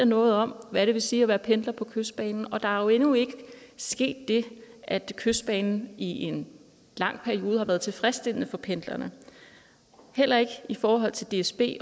noget om hvad det vil sige at være pendler på kystbanen og der er jo endnu ikke sket det at kystbanen i en lang periode har været tilfredsstillende for pendlerne heller ikke i forhold til dsb